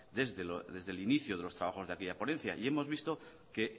desde el inicio de los trabajos de aquella ponencia y hemos visto que